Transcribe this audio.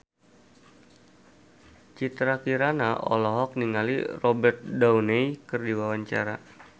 Citra Kirana olohok ningali Robert Downey keur diwawancara